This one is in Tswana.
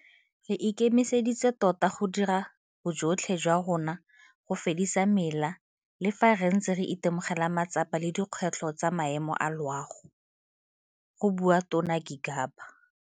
Re ikemiseditse tota go dira bojotlhe jwa rona go fedisa mela le fa re ntse re itemogela matsapa le dikgwetlho tsa maemo a loago, go bua Tona Gigaba.